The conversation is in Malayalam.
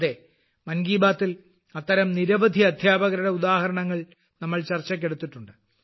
അതെ മൻ കി ബാത്തിൽ അത്തരം നിരവധി അധ്യാപകരുടെ ഉദാഹരണങ്ങൾ നമ്മൾ ചർച്ചയ്ക്ക് എടുത്തിട്ടുണ്ട്